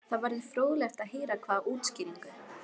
Það verður fróðlegt að heyra hvaða útskýringu